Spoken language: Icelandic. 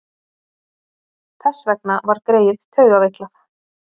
Þess vegna var greyið taugaveiklað.